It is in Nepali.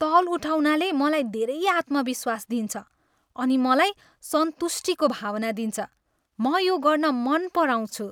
तौल उठाउनाले मलाई धेरै आत्मविश्वास दिन्छ अनि मलाई सन्तुष्टिको भावना दिन्छ। म यो गर्न मन पराउँछु।